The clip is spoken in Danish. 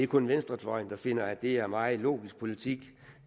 kun venstrefløjen der finder at det er en meget logisk politik